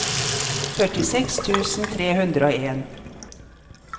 førtiseks tusen tre hundre og en